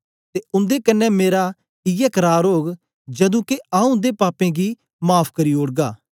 ते उन्दे कन्ने मेरा इयै करार ओग जदू के आऊँ उन्दे पापें गी माफ़ करी ओड़गा